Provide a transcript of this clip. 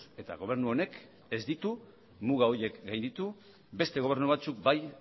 eta gobernu honek ez ditu muga horiek gainditu beste gobernu batzuk bai